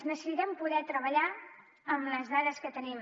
necessitem poder treballar amb les dades que tenim